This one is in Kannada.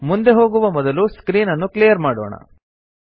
ಮುಂದೆ ಹೋಗುವ ಮೊದಲು ಸ್ಕ್ರೀನ್ ಅನ್ನು ಕ್ಲಿಯರ್ ಮಾಡೋಣ